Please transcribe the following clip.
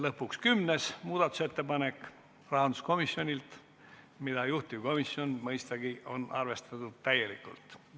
Lõpuks kümnes muudatusettepanek –rahanduskomisjonilt ja mõistagi on juhtivkomisjon arvestanud seda täielikult.